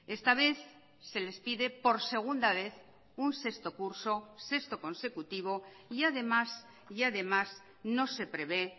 esta vez se les pide por segunda vez un sexto curso sexto consecutivo y además y además no se prevé